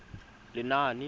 lenaane